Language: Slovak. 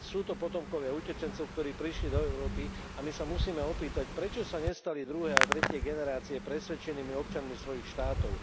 Sú to potomkovia utečencov, ktorí prišli do Európy a my sa musíme opýtať, prečo sa nestali druhé a tretie generácie presvedčenými občanmi svojich štátov.